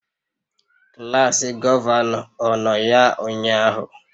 Klas gọvanọ, ọ nọ ya ụnyahụ?